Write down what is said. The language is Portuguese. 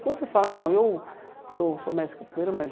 Quando você fala, não, eu eu sou mestre capoeira, mas...